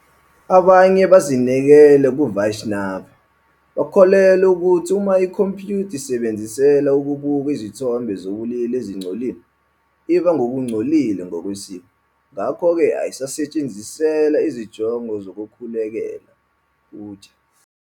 Abanye abazinikele kuVaishnava bakholelwa ukuthi uma ikhompiyutha isetshenziselwa ukubuka izithombe zobulili ezingcolile, iba ngokungcolile ngokwesiko, ngakho-ke ayinakusetshenziselwa izinjongo zokukhulekela, puja.